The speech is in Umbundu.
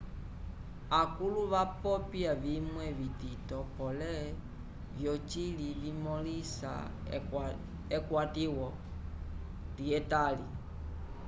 akũlu vapopya vimwe vitito pole vyocili vimõlisa ekwatiwo lyetali